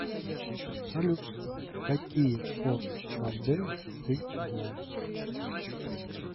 салют какие форд мондео ты знаешь